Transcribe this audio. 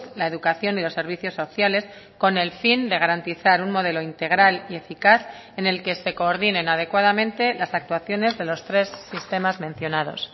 la educación y los servicios sociales con el fin de garantizar un modelo integral y eficaz en el que se coordinen adecuadamente las actuaciones de los tres sistemas mencionados